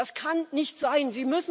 Das kann nicht sein!